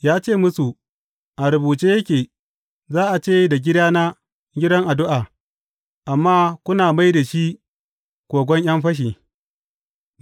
Ya ce musu, A rubuce yake, Za a ce da gidana, gidan addu’a,’ amma kuna mai da shi kogon ’yan fashi.’